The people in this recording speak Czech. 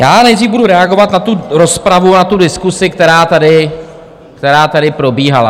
Já nejdřív budu reagovat na tu rozpravu a tu diskusi, která tady, která tady probíhala.